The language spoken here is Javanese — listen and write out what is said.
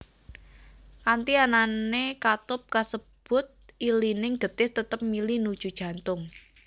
Kanthi anané katup kasebut ilining getih tetep mili nuju jantung